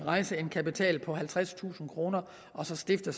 rejse en kapital på halvtredstusind kroner og så stifte